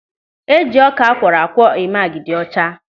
Eji ọka akwọrọakwọ eme agidi ọcha.